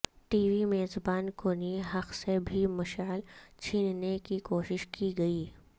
T V میزبان کونی حق سے بھی مشعل چھیننے کی کوشش کی گئی